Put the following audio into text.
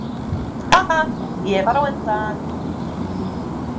Haha, ég var á undan!